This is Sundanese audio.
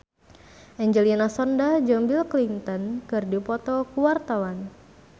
Angelina Sondakh jeung Bill Clinton keur dipoto ku wartawan